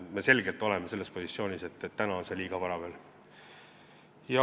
Me oleme selgelt positsioonil, et täna on selleks liiga vara.